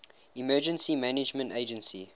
emergency management agency